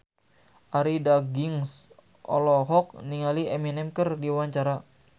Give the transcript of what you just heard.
Arie Daginks olohok ningali Eminem keur diwawancara